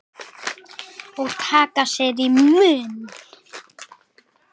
Og taka sér í munn.